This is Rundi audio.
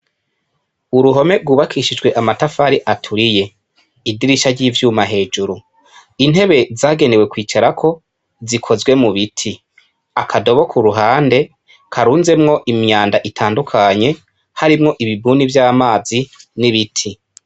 Uruhome rwubakishijwe amatafari aturiye idirisha ry'ivyuma hejuru, intebe zagewe kwicarako zikozwe mubiti, akadobo kuruhande karunzemwo imyanda itandukanye harimwo ibdumu vy'amazi n'ibiti.